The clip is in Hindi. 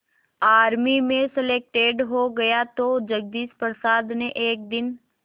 आर्मी में सलेक्टेड हो गया तो जगदीश प्रसाद ने एक दिन